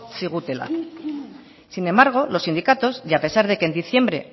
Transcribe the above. zigutela sin embargo los sindicatos y a pesar de que en diciembre